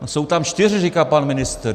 Jsou tam čtyři, říká pan ministr.